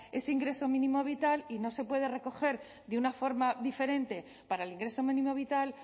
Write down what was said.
ese ingreso mínimo vital y no se puede recoger de una forma diferente para el ingreso mínimo vital